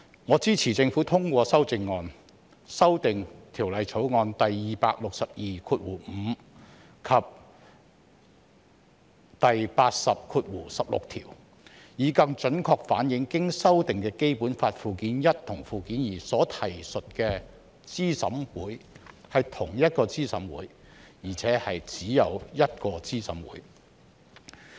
我支持政府通過修正案，修訂《條例草案》第2625條及第80條，以更準確反映經修訂的《基本法》附件一和附件二所提述的資審會是同一個資審會，並且只有一個資審會。